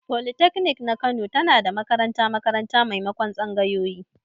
Folitaknik ta Kano tana da makaranta-makaranta maimakon tsangayoyi.